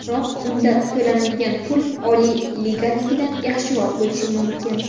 Biroq unda to‘lanadigan pul Oliy liganikidan yaxshiroq bo‘lishi mumkin.